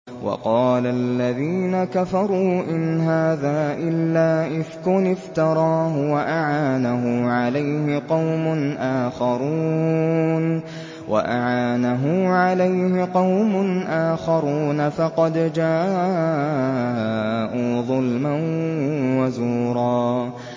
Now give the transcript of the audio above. وَقَالَ الَّذِينَ كَفَرُوا إِنْ هَٰذَا إِلَّا إِفْكٌ افْتَرَاهُ وَأَعَانَهُ عَلَيْهِ قَوْمٌ آخَرُونَ ۖ فَقَدْ جَاءُوا ظُلْمًا وَزُورًا